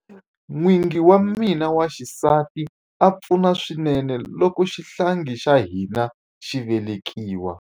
N'wingi wa mina wa xisati a pfuna swinene loko xihlangi xa hina xi velekiwa.